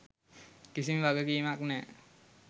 කිසිම වගකීමක් නෑ.